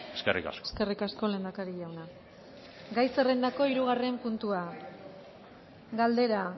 eskerrik asko eskerrik asko lehendakari jauna gai zerrendako hirugarren puntua galdera